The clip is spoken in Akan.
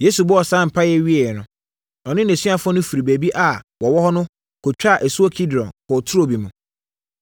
Yesu bɔɔ saa mpaeɛ yi wieeɛ no, ɔne nʼasuafoɔ no firii baabi a wɔwɔ no kɔtwaa asuo Kidron kɔɔ turo bi mu.